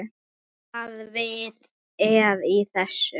Hvaða vit er í þessu?